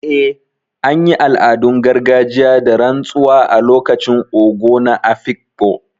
Eh, an yi al’adun gargajiya da rantsuwa a lokacin Ogo na Afikpo.